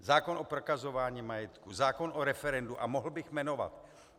Zákon o prokazování majetku, zákon o referendu a mohl bych jmenovat.